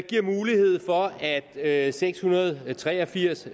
giver mulighed for at at seks hundrede og tre og firs